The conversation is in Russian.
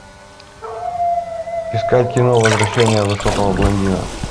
искать кино возвращение высокого блондина